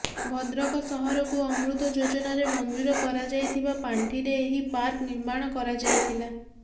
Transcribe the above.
ଭଦ୍ରକ ସହରକୁ ଅମୃତ ଯୋଜନାରେ ମଂଜୁର କରାଯାଇଥିବା ପାଂଠିରେ ଏହି ପାର୍କ ନିର୍ମାଣ କରାଯାଇଥିଲା